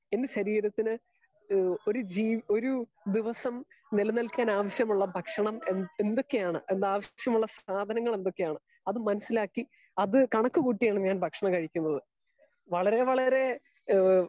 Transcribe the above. Speaker 2 എന്റെ ശരീരത്തിന് ഹേ ഒരു ജീ ഒരു നിമിഷം നിലനിൽക്കാൻ ആവിശ്യമുള്ള ഭക്ഷണം എന്തൊക്കെയാണ് അതിന് ആവിശ്യമുള്ള സാധനങ്ങൾ എന്തൊക്കെയാണ്. അത് മനസ്സിലാക്കി അത് കണക്ക് കൂട്ടിയാണ് ഞാൻ ഭക്ഷണം കഴിക്കുന്നത്. വളരെ വളരെ ഹേ